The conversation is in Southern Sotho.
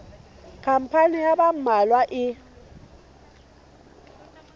khampani ya ba mmalwa e